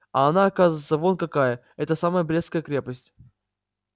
а она оказывается вон какая эта самая брестская крепость